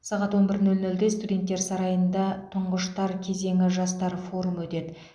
сағат он бір нөл нөлде студенттер сарайында тұңғыштар кезеңі жастар форумы өтеді